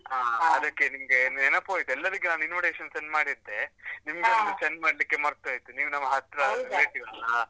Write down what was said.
ನಿಮ್ಗೆ ನೆನಪ್ ಹೊಯ್ತು, ಎಲ್ಲರಿಗೆ ನಾನು invitation send ಮಾಡಿದ್ದೆ. ಒಂದು send ಮಾಡ್ಲಿಕ್ಕೆ ಮರ್ತ್ ಹೊಯ್ತು, ನೀವ್ ನಮ್ಮ relative ಅಲಾ.